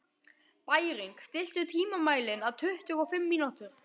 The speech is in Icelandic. Bæring, stilltu tímamælinn á tuttugu og fimm mínútur.